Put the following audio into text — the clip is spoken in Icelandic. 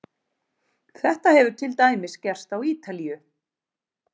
Þetta hefur til dæmis gerst á Ítalíu.